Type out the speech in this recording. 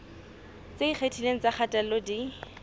tse ikgethileng tsa kgatello di